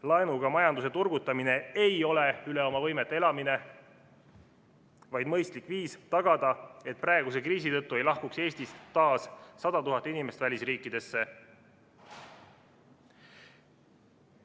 Laenuga majanduse turgutamine ei ole üle oma võimete elamine, vaid mõistlik viis tagada, et praeguse kriisi tõttu ei lahkuks Eestist taas 100 000 inimest välisriikidesse.